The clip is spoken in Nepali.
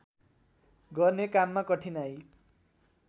गर्ने काममा कठिनाइ